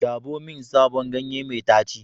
Dabo min sabon ganye mai daci.